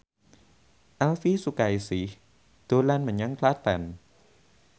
Elvy Sukaesih dolan menyang Klaten